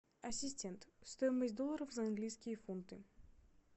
ассистент стоимость долларов за английские фунты